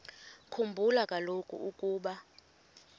khumbula kaloku ukuba